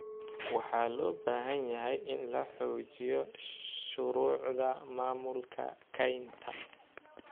Waxaa loo baahan yahay in la xoojiyo shuruucda maamulka kaynta.